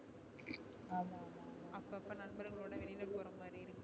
அப்ப அப்ப நம்பர்களோட வெளில போற மாதிரி இருக்கு